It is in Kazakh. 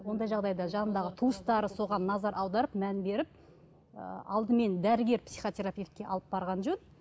ондай жағдайда жанындағы туыстары соған назар аударып мән беріп алдымен дәрігер психотерапевтке алып барған жөн